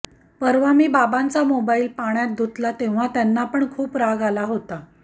परवा मी बाबांचा मोबाईल पाण्यात धुतला तेव्हा त्यांना पण खूप राग आला होता